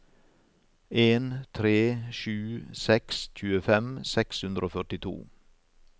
en tre sju seks tjuefem seks hundre og førtito